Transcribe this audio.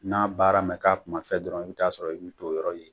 N'a baara ma k'a kuma fɛn dɔrɔn i bi taa a sɔrɔ i bi t'o yɔrɔ ye.